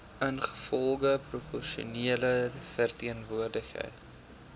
ingevolge proporsionele verteenwoordiging